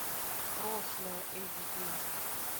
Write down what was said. прошлое эйч ди